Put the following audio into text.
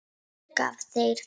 Hver gaf þér það?